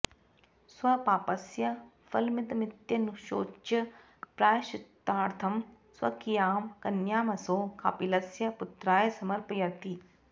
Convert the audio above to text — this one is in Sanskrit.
स्वपापस्य फलमिदमित्यनुशोच्य प्रायश्चित्तार्थं स्वकीयां कन्यामसौ कापिलस्य पुत्राय समर्पयति